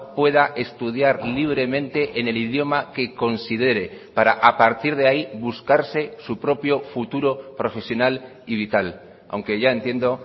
pueda estudiar libremente en el idioma que considere para a partir de ahí buscarse su propio futuro profesional y vital aunque ya entiendo